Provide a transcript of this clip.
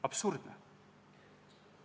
Absurdne!